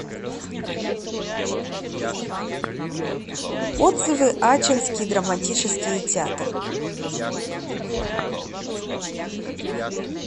отзывы ачинский драматический театр